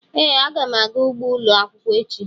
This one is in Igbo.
Ee, aga m aga ugbo ụlọ akwụkwọ echi